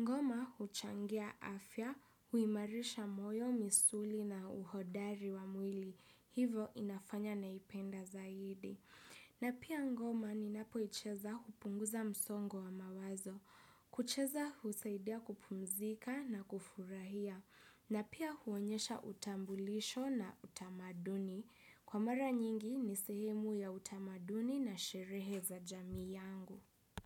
Ngoma huchangia afya, huimarisha moyo, misuli na uhodari wa mwili. Hivo inafanya naipenda zaidi. Na pia ngoma ninapoicheza hupunguza msongo wa mawazo. Kucheza husaidia kupumzika na kufurahia. Na pia huonyesha utambulisho na utamaduni. Kwa mara nyingi ni sehemu ya utamaduni na sherehe za jamiii yangu.